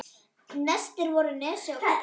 Verstir voru Nesi og Kobbi.